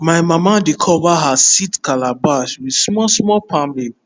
my mama dey cover her seed calabash with small small palm leaf